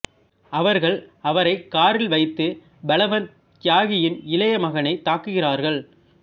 அவர்கள் அவரை காரில் வைத்து பல்வந்த் தியாகியின் இளைய மகனைத் தாக்குகிறார்கள்